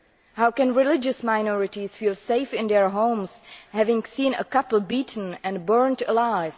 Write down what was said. How can religious minorities feel safe in their homes, having seen a couple beaten and burnt alive?